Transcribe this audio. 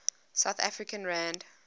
south african rand